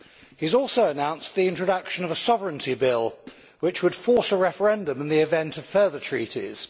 He has also announced the introduction of a Sovereignty Bill, which would force a referendum in the event of further treaties.